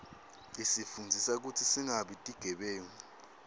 isifundzisa kutsi singabi tigebengu